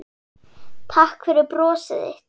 Takk fyrir brosið þitt.